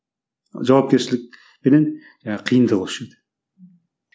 жауапкершілік пенен жаңағы қиындығы осы жерде